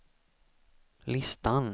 listan